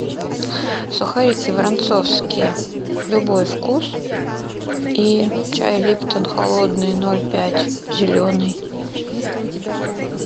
сухарики воронцовские любой вкус и чай липтон холодный ноль пять зеленый